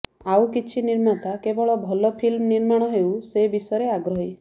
ଆଉ କିଛି ନିର୍ମାତା କେବଳ ଭଲ ଫିଲ୍ମ ନିର୍ମାଣ ହେଉ ସେ ବିଷୟରେ ଆଗ୍ରହୀ